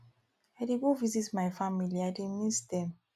i dey go visit my family i dey miss dem